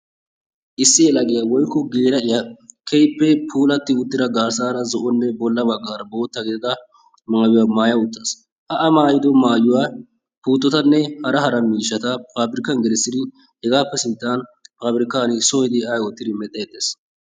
Issi yelagiyaa woykko geela'iyaa keehippe puulatti uttida garssaara zo'onne bolla baggaara bootta gidida maayuwaa maaya uttaasu. A maayido maayuwaa puuttotanne hara hara miishshata paabirkaani gelissidi hegaappe sinttan pabirkkaan soo ehidi ay oottidi mel"eettees.